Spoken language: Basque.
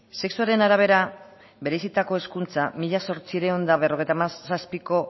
sexuaren arabera bereizitako hezkuntza mila zortziehun eta berrogeita hamazazpiko